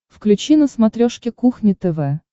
включи на смотрешке кухня тв